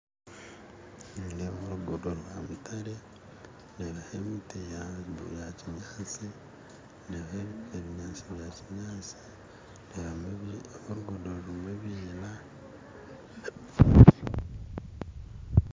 Nindeeba orugudo rwa mutare ndeebaho emiti ya kinyaatsi ndeebamu ebinyaasti nyaatsi nyaatsi ndeebamu orugudo rurimu ebiina